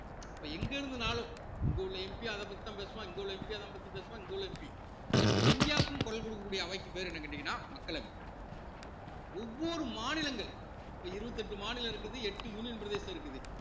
அப்ப எங்கிருந்துன்னாலும் இங்க உள்ள MP அதப் பத்திதான் பேசுவான் இங்க உள்ள MP அதைத்தான் பத்தி பேசுவான் இங்க உள்ள MP அப்ப இந்தியாவுக்குன்னு குரல் கொடுக்கக் கூடிய அமைப்பு பேரு என்னன்னு கேட்டீங்கன்னா மக்களவை ஒவ்வொரு மாநிலங்கள் அப்ப இருவத்தி எட்டு மாநிலம் இருக்குது எட்டு union பிரதேசம் இருக்குது